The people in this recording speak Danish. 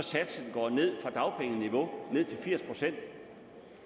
går ned fra dagpengeniveau til firs procent